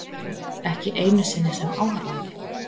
Ekki einu sinni sem áhorfandi.